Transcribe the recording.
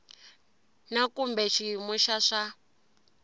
na kumbe xiyimo xa swa